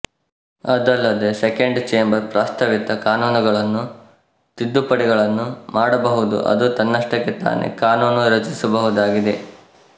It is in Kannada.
ಅದಲ್ಲದೇ ಸೆಕೆಂಡ್ ಚೇಂಬರ್ ಪ್ರಸ್ತಾವಿತ ಕಾನೂನುಗಳನ್ನು ತಿದ್ದುಪಡಿಗಳನ್ನು ಮಾಡಬಹುದುಅದು ತನ್ನಷ್ಟಕ್ಕೆ ತಾನೇ ಕಾನೂನು ರಚಿಸಬಹುದಾಗಿದೆ